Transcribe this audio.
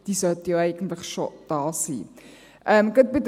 Diese sollten eigentlich schon vorhanden sein.